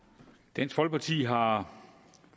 dansk folkeparti har